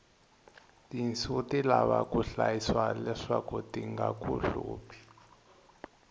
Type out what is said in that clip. tinsu ti lava ku hlayisiwa leswaku tinaku hluphi